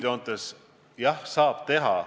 Üldjoontes, jah, saab teha.